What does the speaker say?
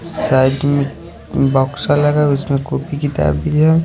side में box लगाए हुए है उसमे किताब भी है--